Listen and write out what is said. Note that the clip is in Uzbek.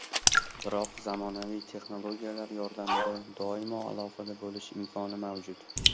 Biroq zamonaviy texnologiyalar yordamida doimo aloqada bo‘lish imkoni mavjud.